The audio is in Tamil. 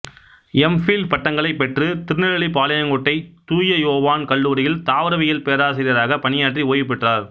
எம் ஃபில் பட்டங்களைப் பெற்று திருநெல்வேலி பாளையங்கோட்டை தூய யோவான் கல்லூரியில் தாவரவியல் பேராசியராகப் பணியாற்றி ஓய்வு பெற்றவர்